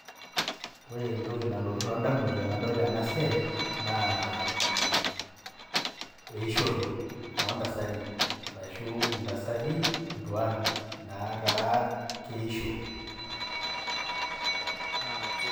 Ore entoki nalotu too ndamunot tanadol ena siai, naa eishoro oo ntasati, arashu intasati tuan nataa keisho.